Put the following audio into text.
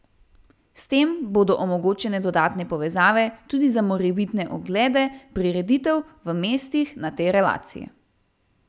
S tem bodo omogočene dodatne povezave tudi za morebitne oglede prireditev v mestih na tej relaciji.